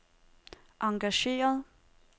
engageret